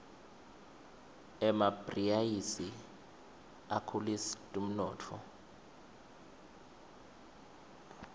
emabhriaisi akhulisd umnotfo